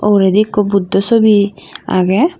ogoredey ekkho buddho sube agey.